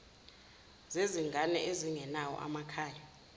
zezingane ezingenawo amakhaya